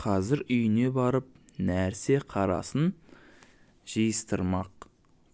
қазір үйіне барып нәрсе-қарасын жиыстырмақ